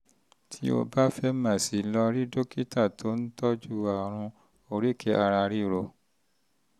tó o bá fẹ́ mọ̀ sí i lọ bá dókítà tó ń um tọ́jú àrùn um oríkèé-ara -ríro um